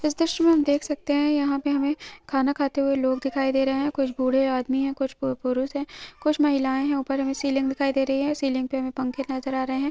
इस द्रश्य में हम देख सकते है यहाँ पे हमे खाना खाते हुए लोग दिखाई दे रहै है कुछ बूढ़े आदमी है कुछ पु पुरुश है कुछ महिलाए है ऊपर हमे सीलिंग दिखाई दे रही है सीलिंग पे हमे पंखे नज़र आ रहै है।